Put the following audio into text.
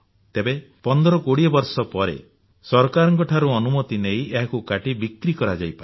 ତେବେ 1520 ବର୍ଷ ପରେ ସରକାରଙ୍କ ଠାରୁ ଅନୁମତି ନେଇ ଏହାକୁ କାଟି ବିକ୍ରି କରାଯାଇପାରେ